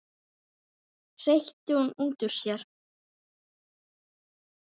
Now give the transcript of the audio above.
hreytti hún út úr sér.